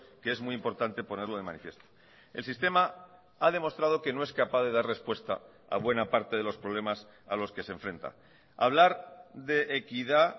que es muy importante ponerlo de manifiesto el sistema ha demostrado que no es capaz de dar respuesta a buena parte de los problemas a los que se enfrenta hablar de equidad